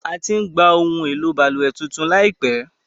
A ti ń gba ohun èlò balùwẹ̀ tuntun láìpẹ́.